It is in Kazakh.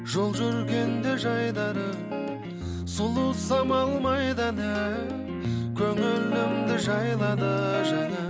жол жүргенде жайдары сұлу самал майда әні көңілімді жайлады жаңа